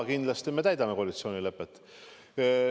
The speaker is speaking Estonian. Kindlasti me täidame koalitsioonilepet.